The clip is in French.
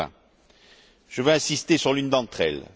2020. Je vais insister sur l'une d'entre elles.